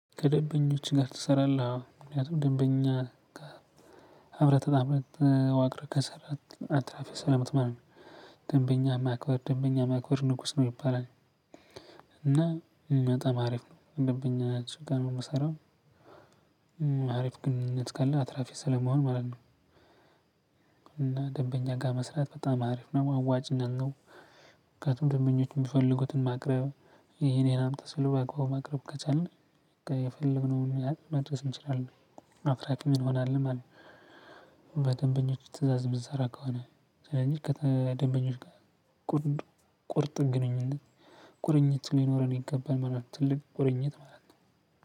ከደንበኞች ጋር ትሰራለህ አዎ ምክንያቱም ደንበኛ አብረህ ተጣምረህ ተዋቅረህ ከሰራህ አትራፊ ስለምትሆን ደንበኛ ማክበር ደንበኛ ማክበር ንጉስ ነው ይባላል። እና የሚመጣ አሪፍ ነው ደንበኛ ሱቅ ጋር ነው የምሰራው። አሪፍ ግንኙነት ካለህ አትራፊ ስለምሆን ማለት ነው። እና ደንበኛ ጋር መስራት በጣም አሪፍ ነው አዋጪነት ነው። ምክንያቱም ደንበኞች የሚፈልጉትን ማቅረብ ይሄን ይሄን አምጡ ሲሉ በአግባቡ ማቅረብ ከቻልን የፈለግነውን ያህል መድረስ እንችላለን አትራፊም እንሆናለን ማለት ነው። በደንበኞች ትእዛዝ የምንሰራ ከሆነ ስለዚህ ከደንበኞች ጋር ቁርጥ ግንኙነት ቁርኝት ሊኖረን ይገባል ማለት ነው። ትልቅ ቁርኝት ማለት ነው